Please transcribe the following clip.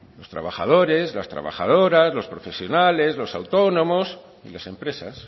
los trabajadores las trabajadoras los profesionales los autónomos y las empresas